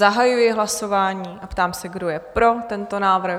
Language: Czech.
Zahajuji hlasování a ptám se, kdo je pro tento návrh?